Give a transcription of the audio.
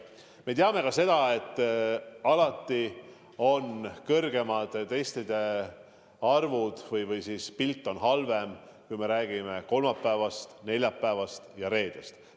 Me teame ka seda, et alati on suuremad testide ja positiivsete vastuste arvud kolmapäeval, neljapäeval ja reedel.